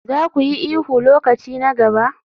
Za ku yi ihu lokaci na gaba?